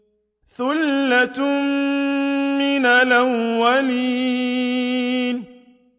ثُلَّةٌ مِّنَ الْأَوَّلِينَ